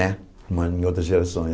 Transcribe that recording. né uma em outras gerações.